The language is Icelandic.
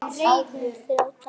Á hún þrjár dætur.